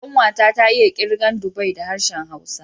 Ƙanwa ta, ta iya kirgan dubai da harshen Hausa.